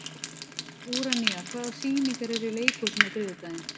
Úranía, hvaða sýningar eru í leikhúsinu á þriðjudaginn?